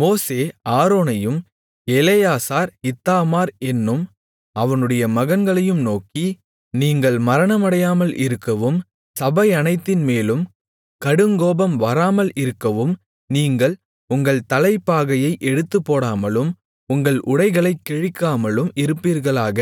மோசே ஆரோனையும் Eleazar Ithamar என்னும் அவனுடைய மகன்களையும் நோக்கி நீங்கள் மரணமடையாமல் இருக்கவும் சபையனைத்தின்மேலும் கடுங்கோபம் வராமல் இருக்கவும் நீங்கள் உங்கள் தலைப்பாகையை எடுத்துப்போடாமலும் உங்கள் உடைகளைக் கிழிக்காமலும் இருப்பீர்களாக